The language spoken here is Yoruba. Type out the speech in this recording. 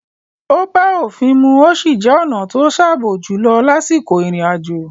Ó bá òfin mu ó sì jẹ́ ọ̀na to sààbò jùlọ lásìkò ìrìn àjò.